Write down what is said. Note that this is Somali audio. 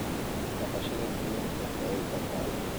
Dhaqashada kalluunka waa il dhaqaale.